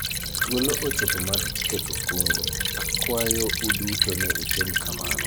thuolo ochopo mar keto kungo ,akwayo uduto ni watim kamano